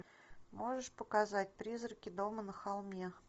можешь показать призраки дома на холме